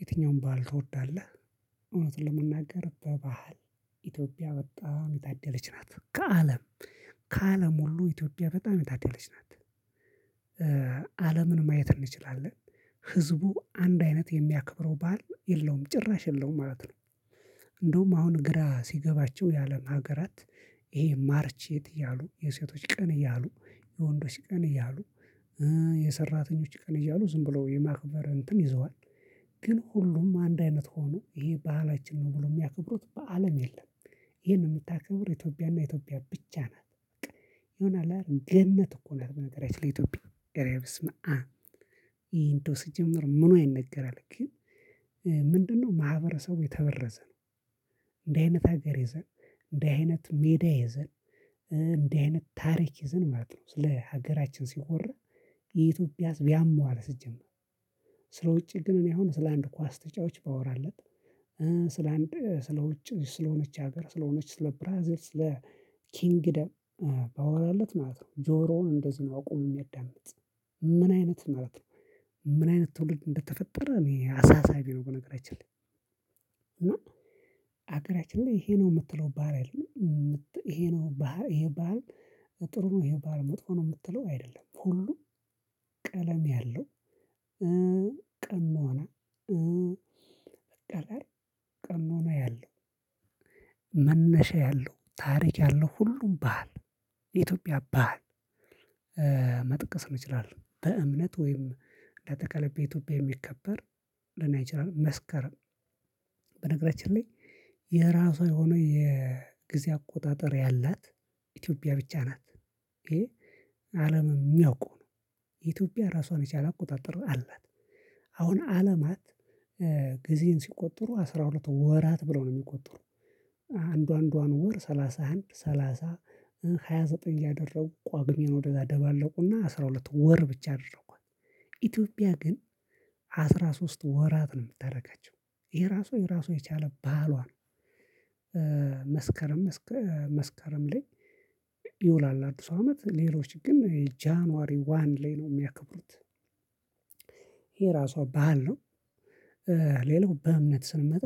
የትኛውን ባህል ትወዳለህ? እውነት ለመናገር በባህል ኢትዮጵያ በጣም የታደለች ናት። ከአለም ከአለም ሁሉ ኢትዮፒያ በጣም የታደለች ናት። አለምን ማየት እንችላለን። ህዝቡ አንድ አይነት የሚያከብረው ባህል የለውም ጭራሽ የለውም ማለት ነው። እንደውም አሁን ግራ ሲገባቸው ያለም ሀገራት። ይሄ ማርች ኤይት እያሉ የሴቶች ቀን እያሉ የወንዶች ቀን እያሉ። የሰራተኞች ቀን እያሉ ዝም ብለው የማክበር እንትን ይዘዋል። ግን ሁሉም አንድ አይነት ሆኖ ይሄ ባህላችን ነው ብሎ የሚያከብሩት በአለም የለም። ይሄን የምታከብር ኢትዮጵያና ኢትዮጵያ ብቻ ናት። የሆነ ያህል ገነት እኮ ናት በነገራችን ኢትዮጵያ እረበስማአም እረእንደው ሲጀመር ምኑዋ ይነገራል ግን። ምንድነው ማህበረሰቡ የተበረዘ ነው። እንዲህ አይነት ሀገር ይዘን እንደዚህ አይነት ሜዳ ይዘን እንደዚህ አይነት ታሪክ ይዘን ማለት ነው ስለ ሀገራችን ሲወራ። የኢትዮጵያ ህዝብ ያመዋል ሲጀመር። ስለ ውጪ ግን እኔ አሁን ስለ አንድ ኳስ ተጫዋች ባወራለት። ስለ አንድ ስለ ውጭ ስለሆነች ሀገር ስለሆነች ስለ ብራዚል ስለ ኪንግደም ባወራለት ማለት ነው ጆሮውን እንደዚህ ነው አቁሞ የሚያዳምጥ። ምን አይነት ማለት ነው? ምን አይነት ትውልድ እንደተፈጠረ እኔ አሳሳቢ ነው በነገራችን ላይ። እና ሀገራችን ላይ ይሄ ነው የምትለው ባህል አይደለም። ምት ይሄ ነው ባህል ይሄ ባህል ጥሩ ነው ይሄ ባህል መጥፎ ነው የምትለው አይደለም። ከሁሉም ቀለም ያለው። ቀም ሆነ። ቀሞና ያለው። መነሻ ያለው ታሪክ ያለው ሁሉም ባህል። የኢትዮፒያ ባህል። መጥቀስ እንችላለን በእምነት ወይም በአጠቃላይ በኢትዮጵያ የሚከበር ሊሆን ይችላል። መስከረም በነገራችን ላይ። የራሷ የሆነ የግዜ አቆጣጠር ያላት ኢትዮጵያ ብቻ ናት። ይሄ አለም የሚያውቀው ነው። የኢትዮጵያ ራሷን የቻለ አቆጣጠር አላት። አሁን አለማት ጊዜን ሲቆጠሩ አስራ ሁለቱ ወራት ብለው ነው የሚቆጥሩ። አንዱ አንዱዋን ወር ሰላሳ አንድ ሰላሳ ሃያ ዘጠኝ እያደረጉ ቋግሜን ወደዛ ደባለቁና አስራ ሁለት ወር ብቻ አደረጓት። ኢትዮጵያ ግን አስራ ሶስት ወራት ነው ምታረጋቸው ይሄ ራሱ የራሱን የቻለ ባህሏ ነው። መስከረም እስከ መስከረም ላይ። ይውላል አዲሱ አመት ሌሎች ግን ጃንዋሪ ዋን ላይ ነው የሚያከብሩት። ይሄ ራሷ ባህል ነው። ሌላው በእምነት ስንመጣ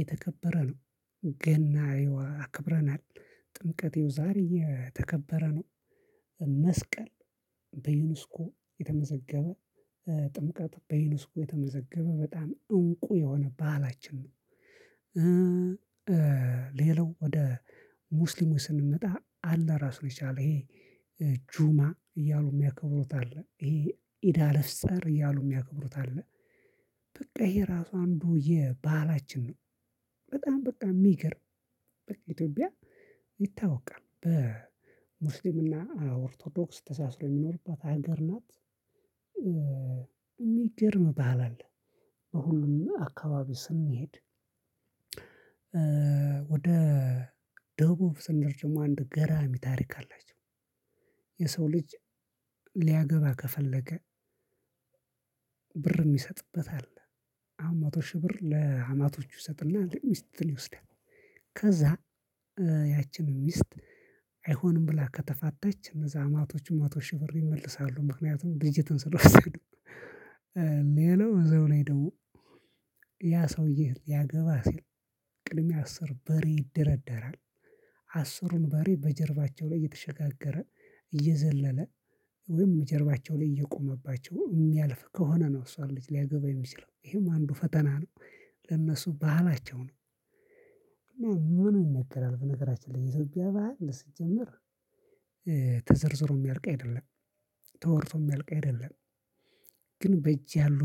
የተከበረ ነው። ገና እየዋ አክብረናል። ጥምቀት እየው ዛሬ የተከበረ ነው። መስቀል በዩንስኮ የተመዘገበ ጥምቀት በዩንስኮ የተመዘገበ በጣም እንቁ የሆነ ባህላችን ነው። ሌላው ወደ ሙስሊሙ ስንመጣ አላህ ራሱን ነው የቻለ ይሄ ጁማ እያሉ የሚያከብሩት አለ ይሄ ኢዳለፍፀር እያሉ የሚያከብሩት አለ። በቃ ይሄ ራሱ አንዱ የባህላችን ነው። በጣም በቃ የሚገርም በቃ ኢትዮጵያ ይታወቃል በሙስሊምና ኦርቶዶክስ ተሳስሮ የሚኖርባት ሀገር ናት። የሚገርም ባህል አለ። በሁሉም አካባቢ ስንሄድ። ወደ ደቡብ ስንደርስ ደሞ አንድ ገራሚ ታሪክ አላቸው። የሰው ልጅ ሊያገባ ከፈለገ ብር የሚሰጥበት አለ። አሁን መቶ ሺህ ብር ለአማቶቹ ይሰጥና ለሚስት ይወስዳል። ከዛ ያችን ሚስት አይሆንም ብላ ከተፋተች እነዛ አማቶቹ መቶ ሺህ ብር ይመልሳሉ ምክንያቱም ልጅቱን ስለወሰዱ። ሌላው እዛው ላይ ደሞ ያ ሰውዬ ሊያገባህ ሲል ቅድሚያ አስር በሬ ይደረደራል። አስሩን በሬ በጀርባቸው ላይ እየተሸጋገረ እየዘለለ ወይም ጀርባቸው ላይ እየቆመባቸው የሚያልፍ ከሆነ ነው እሷን ልጅ ሊያገባ የሚችለው ይሄም አንዱ ፈተና ነው። ለነሱ ባህላቸው ነው። ምኑ ይነገራል በነገራችን ላይ የኢትዮፒያ ባህል ሲጀመር። ተዘርዝሮ ሚያልቅ አይደለም። ተወርቶ ሚያልቅ አይደለም። ግን በእጅ ያሉ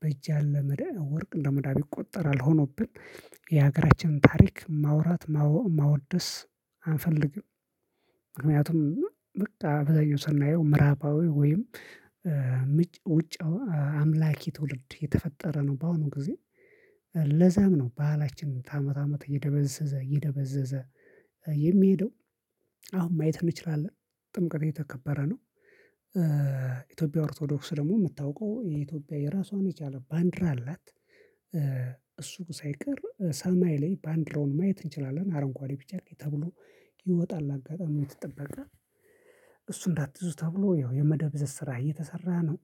በእጅ ያለ መዳብ ወርቅ እንደ መዳብ ይቆጠራል ሆኖብን። የሀገራችን ታሪክ ማውራት ማወ ማወደስ አንፈልግም። ምክንያቱም በቃ አብዛኛው ስናየው ምዕራባዊ ወይም ምጭ ውጭ አምላኪ ትውልድ እየተፈጠረ ነው። በአሁኑ ጊዜ። ለዛም ነው ባህላችን ከአመት አመት እየደበዘዘ እየደበዘዘ የሚሄደው። አሁን ማየት እንችላለን ጥምቀት እየተከበረ ነው። ኢትዮጵያ ኦርቶዶክስ ደግሞ የምታውቀው የኢትዮጵያ የራሷን የቻለ ባንዲራ አላት። እሱ ሳይቀር ሰማይ ላይ ባንዲራውን ማየት እንችላለን። አረንጓዴ ቢጫ ቀይ ተብሎ ይወጣል አጋጣሚው የተጠበቀ እሱ እንዳትዙ ተብሎ ያው የመደብዘዝ ስራ እየተሰራ ነው።